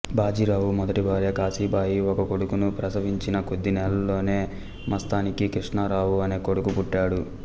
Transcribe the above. బాజీరావు మొదటి భార్య కాశీబాయి ఒక కొడుకును ప్రసవించిన కొద్ది నెలల్లోనే మస్తానీకి కృష్ణారావు అనే కొడుకు పుట్టాడు